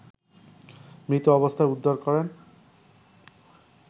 মৃত অবস্থায় উদ্ধার করেন